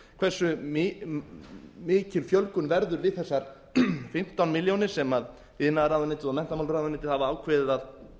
hversu mikil fjölgun verður við þessar fimmtán milljónir sem iðnaðarráðuneytið og menntamálaráðuneytið hafa ákveðið að